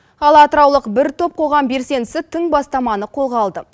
ал атыраулық бір топ қоғам белсендісі тың бастаманы қолға алды